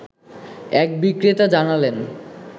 এক বিক্রেতা জানালেন